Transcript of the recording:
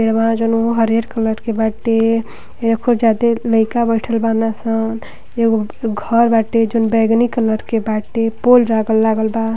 हरियर कलर के बाटे। बइठल बाड़न सन एगो घर बाटे जउन बेगनी कलर के बाटे पुल लागल-लागल बा।